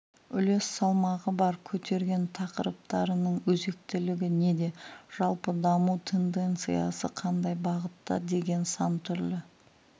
үлес салмағы бар көтерген тақырыптарының өзектілігі неде жалпы даму тенденциясы қандай бағытта деген сан түрлі